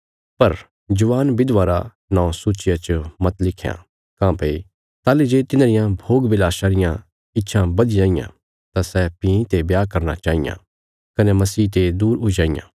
पर जवान विधवां रा नौं सूचिया च मत लिखयां काँह्भई ताहली जे तिन्हांरियां भोगविलासा रियां इच्छां बधी जाईयां तां सै भीं ते ब्याह करना चाईयां कने मसीह ते दूर हुई जाईयां